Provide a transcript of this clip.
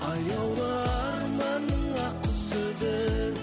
аяулы арманның ақ құсы өзің